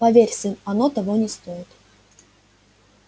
поверь сын оно того не стоит